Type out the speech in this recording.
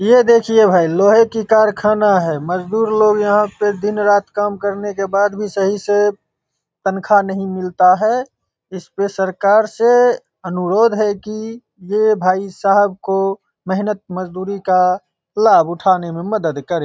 ये देखिये भाई लोहे की कारखाना है। मजदुर लोग यहाँ दिन रात काम करने के बाद भी सही से तनखा नही मिलता है। इसमें सरकार से अनुरोध है की ये भाई साहब को मेहनत मजदूरी का लाभ उठाने में मदद करें।